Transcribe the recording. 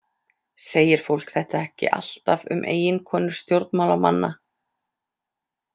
Segir fólk þetta ekki alltaf um eiginkonur stjórnmálamanna?